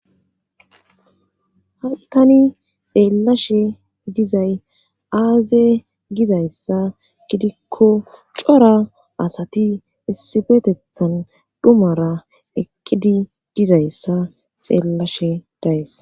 ha7i tani xeellashe dizay aaze gizayssa gidikko cora asati issibetethan dhumara eqqidi dizayssa xeellashe days